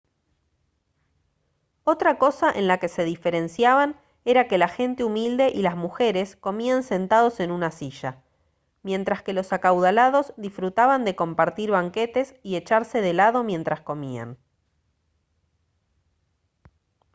otra cosa en la que se diferenciaban era que la gente humilde y las mujeres comían sentados en una silla mientras que los acaudalados disfrutaban de compartir banquetes y echarse de lado mientras comían